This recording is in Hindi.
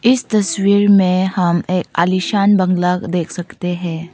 इस तस्वीर में हम एक आलीशान बंगला देख सकते हैं।